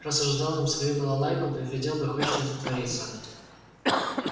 раз уж сдал им свою балалайку поглядел бы хоть что тут творится